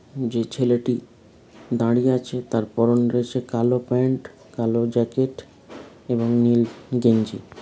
যে ছেলেটি দাঁড়িয়ে আছে তার পরনে রয়েছে কালো প্যান্ট কালো জ্যাকেট এবং নীল গেঞ্জি।